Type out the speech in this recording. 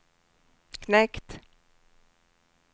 knekt